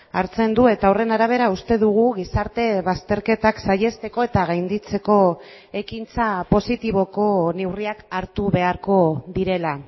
hartzen du eta horren arabera uste dugu gizarte bazterketak saihesteko eta gainditzeko ekintza positiboko neurriak hartu beharko direla